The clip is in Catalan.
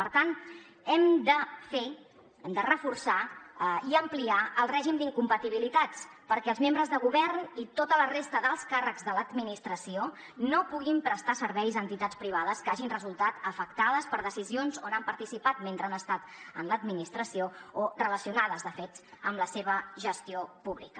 per tant hem de fer hem de reforçar i ampliar el règim d’incompatibilitats perquè els membres de govern i tota la resta d’alts càrrecs de l’administració no puguin prestar serveis a entitats privades que hagin resultat afectades per decisions on han participat mentre han estat a l’administració o relacionades de fet amb la seva gestió pública